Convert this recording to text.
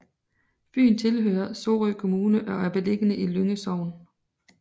Byen tilhører Sorø Kommune og er beliggende i Lynge Sogn